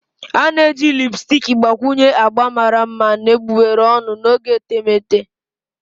A na-eji lipusticki gbakwunye agba mara mma na egbugbere ọnụ n'oge etemeete.